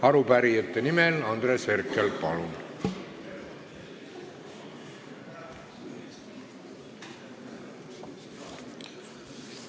Arupärijate nimel Andres Herkel, palun!